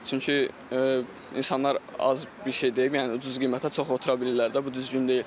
Çünki insanlar az bir şey deyib, yəni ucuz qiymətə çox otura bilirlər də, bu düzgün deyil.